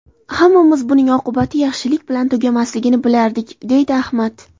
Hammamiz buning oqibati yaxshilik bilan tugamasligini bilardik”, deydi Ahmad.